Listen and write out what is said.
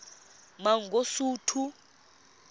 mangosuthu